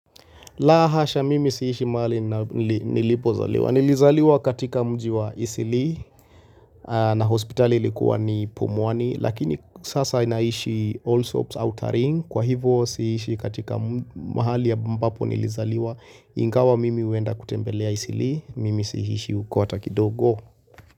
Lahasha mimi siishi mahali nilipo zaliwa. Nilizaliwa katika mji wa Isili na hospitali ilikuwa ni Pumwani. Lakini sasa inaishi Allsops outering. Kwa hivo siishi katika mahali ambapo nilizaliwa. Ingawa mimi huenda kutembelea Isili. Mimi siishi uko hata kidogo.